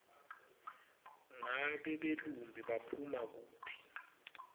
ngabe belumbi baphuma kuphi